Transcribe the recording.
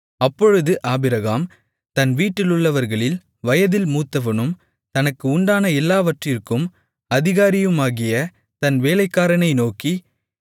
அப்பொழுது ஆபிரகாம் தன் வீட்டிலுள்ளவர்களில் வயதில் மூத்தவனும் தனக்கு உண்டான எல்லாவற்றிற்கும் அதிகாரியுமாகிய தன் வேலைக்காரனை நோக்கி